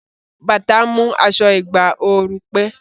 Bàtà ń mú aṣọ ìgbà ooru pé